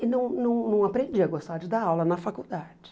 E não não não aprendi a gostar de dar aula na faculdade.